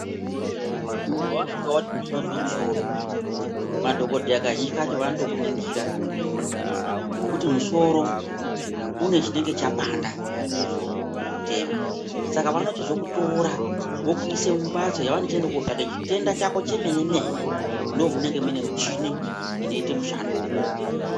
Muntu wasvika wati unozwe misoro ,madhokoteya kazhinji kacho vanotokuningira ngekuti musoro une chinenge chapanda kuti uzotema .Saka vanochikutora vokuise mumbatso yavanochiende kotsvaka chitenda chako chemene mene .Ndomunenge munemushini inoite mushando iwowo.